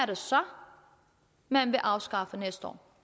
det så man vil afskaffe næste år